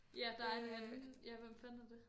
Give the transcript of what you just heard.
Ja der er en anden ja hvem fanden er det